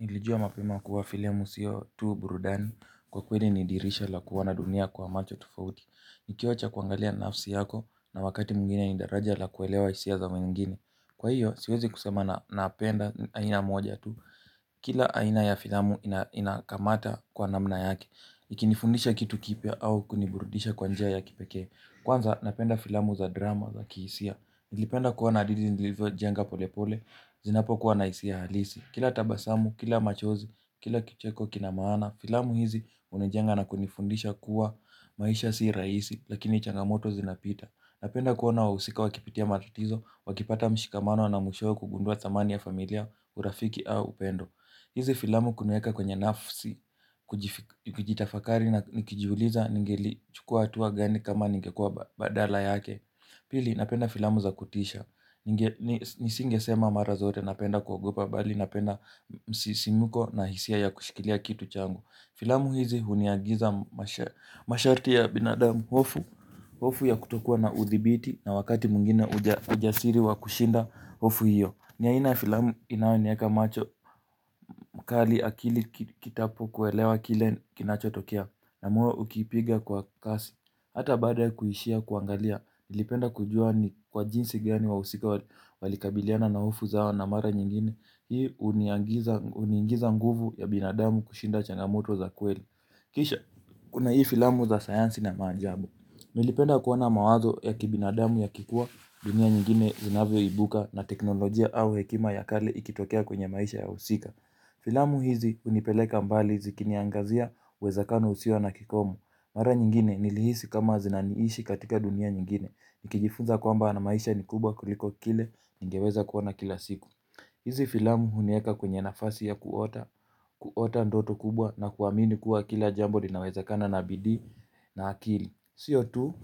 Nilijua mapema kuwa filamu siyo tu burudani. Kwa kweli ni dirisha la kuona dunia kwa macho tofauti. Nikiwacha kuangalia nafsi yako na wakati mwingine ni daraja la kuelewa hisia za wengine. Kwa hiyo siwezi kusema napenda aina moja tu. Kila aina ya filamu inakamata kwa namna yake ikinifundisha kitu kipya au kuniburdisha kwa njia ya kipekee. Kwanza napenda filamu za drama za kihisia. Nilipenda kuwa na hadithi nilivyojenga pole pole. Zinapokuwa na hsia halisi. Kila tabasamu, kila machozi, kila kicheko kina maana, filamu hizi hunijenga na kunifundisha kuwa maisha si rahisi, lakini changamoto zinapita. Napenda kuona wahusika wakipitia matatizo, wakipata mshikamano na mwishowe kugundua thamani ya familia urafiki au upendo. Hizi filamu kuniweka kwenye nafsi, kujitafakari na nikijuliza ningelichukua hatua gani kama ningekua badala yake. Pili napenda filamu za kutisha. Nisingesema mara zote napenda kuogopa bali napenda msisimko na hisia ya kushikilia kitu changu. Filamu hizi huniagiza masharti ya binadamu hofu ya kutokua na udhibiti na wakati mwingine ujasiri wa kushinda hofu hiyo. Ni aina ya filamu inayonieka macho, mkali akili kitapokuelewa kile kinachotokea na moyo ukipiga kwa kasi. Hata baada kuishia kuangalia, nilipenda kujua ni kwa jinsi gani wahusika walikabiliana na hofu zao na mara nyingine. Hii huniagiza huniingiza nguvu ya binadamu kushinda changamoto za kweli. Kisha kuna hii filamu za sayansi na maajabu nilipenda kuona mawazo ya kibinadamu yakikua dunia nyingine zinavyoibuka na teknolojia au hekima ya kale ikitokea kwenye maisha ya wahusika. Filamu hizi hunipeleka mbali zikiniangazia uwezekano usio na kikomo. Mara nyingine nilihisi kama zinaniishi katika dunia nyingine. Nikijifunza kwamba ana maisha ni kubwa kuliko kile ningeweza kuona kila siku. Hizi filamu hunieka kwenye nafasi ya kuota ndoto kubwa na kuamini kuwa kila jambo linawezakana na bidii na akili. Siyo tu,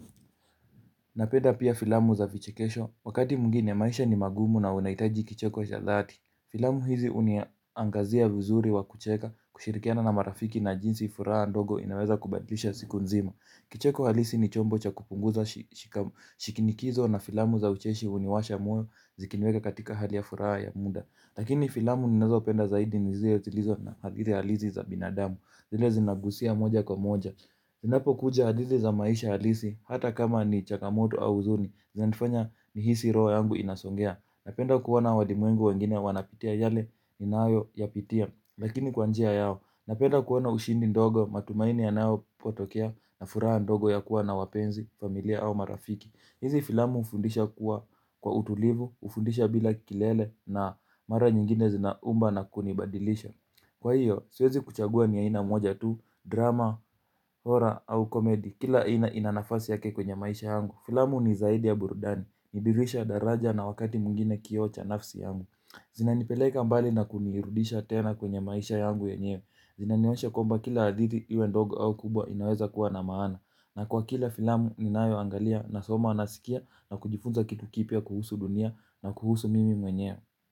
napenda pia filamu za vichekesho, wakati mwigine maisha ni magumu na unahitaji kicheko cha dhati. Filamu hizi huniangazia vizuri wa kucheka, kushirikiana na marafiki na jinsi furaha ndogo inaweza kubadlisha siku nzima. Kicheko halisi ni chombo cha kupunguza shinikizo na filamu za ucheshi huniwasha moyo zikiniweka katika hali ya furaha ya muda. Lakini filamu ninazaopenda zaidi ni zile zilizo na zile halizi za binadamu, zile zinagusia moja kwa moja. Zinapokuja hadithi za maisha halisi hata kama ni changamoto au huzuni zinanifanya nihisi roho yangu inasongea. Napenda kuona walimwengu wengine wanapitia yale ninayoyapitia. Lakini kwa njia yao napenda kuona ushindi ndogo matumaini yanapotokea na furaha ndogo ya kuwa na wapenzi familia au marafiki. Hizi filamu hufundisha kuwa kwa utulivu hufundisha bila kelele na mara nyingine zinaumba na kunibadilisha. Kwa hiyo, siwezi kuchagua ni aina moja tu, drama, horror au komedi. Kila aina ina nafasi yake kwenye maisha yangu. Filamu ni zaidi ya burudani, ni dirisha daraja na wakati mwingine kioo cha nafsi yangu. Zinanipeleka mbali na kunirudisha tena kwenye maisha yangu yenyewe. Zinaniwasha kwamba kila hadithi iwe ndogo au kubwa inaweza kuwa na maana. Na kwa kila filamu ninayoangalia nasoma nasikia na kujifunza kitu kipya kuhusu dunia na kuhusu mimi mwenyewe.